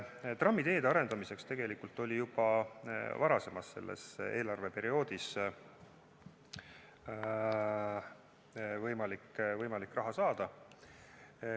Trammiteede arendamiseks oli tegelikult juba varem võimalik selles eelarveperioodis raha saada.